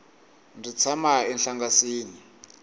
ndzi tshama enhlangasini